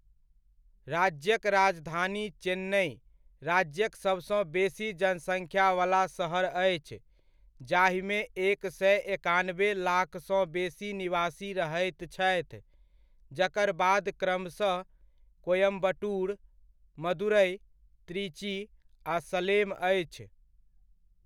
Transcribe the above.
राज्यक राजधानी चेन्नइ राज्यक सभसँ बेसी जनसङ्ख्यावला शहर अछि, जाहिमे एक सए एकनाबे लाखसँ बेसी निवासी रहैत छथि, जकर बाद क्रमशः कोयम्बटूर, मदुरइ, त्रिची आ सलेम अछि।